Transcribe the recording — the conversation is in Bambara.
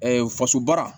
faso baara